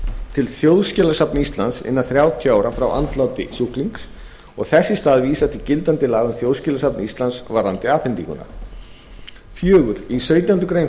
til þjóðskjalasafns íslands innan þrjátíu ára frá andláti sjúklings og þess í stað vísað til gildandi laga um þjóðskjalasafn íslands varðandi afhendinguna fjórði í sautjándu grein